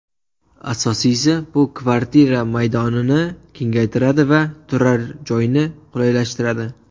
Asosiysi, bu kvartira maydonini kengaytiradi va turar joyni qulaylashtiradi.